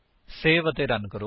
save ਅਤੇ run ਕਰੋ